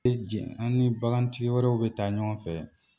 Be jɛn an ni bagantigi wɛrɛw bɛ taa ɲɔgɔn fɛ